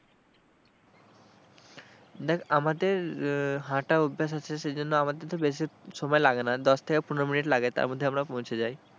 দেখ আমাদের হাঁটা অভ্যেস আছে সেইজন্য আমাদের ধর বেশি সময় লাগেনা, দশ থেকে পনেরো minute লাগে তারমধ্যে আমরা পৌছে যাই।